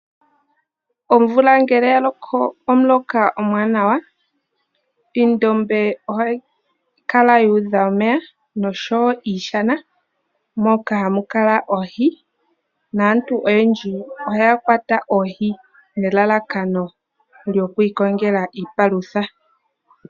Omvula ngele ya loko omuloka omuwanawa, oondombe ohadhi kala dha udha omeya nosho wo iishana moka hamu kala oohi, naantu oyendji ohaya kwata oohi nelalakano lyoku ikongela iipalutha.